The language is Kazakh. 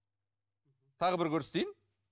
тағы бір көрсетейін